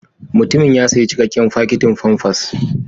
Mutumin ya sayi cikakken fakitin famfas.